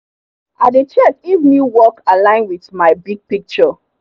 i dey check if new work align with my big picture.